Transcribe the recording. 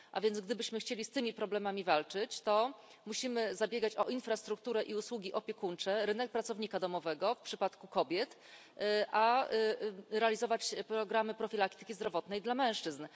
A więc gdybyśmy chcieli z tymi problemami walczyć, to musimy zabiegać o infrastrukturę i usługi opiekuńcze, rynek pracownika domowego w przypadku kobiet, a realizować programy profilaktyki zdrowotnej dla mężczyzn.